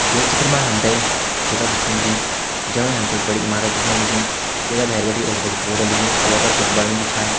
यह चित्र में हमथे एक जगा दिखें लगी जमणे हमथे एक बड़ी इमारत दिखेण लगीं जैका भैर बटी एक बडू बोर्ड लग्युं और वैफर कुछ बण्यू भी छा।